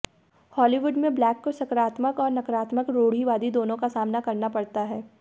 Hollywood में black को सकारात्मक और नकारात्मक रूढ़िवादी दोनों का सामना करना पड़ता है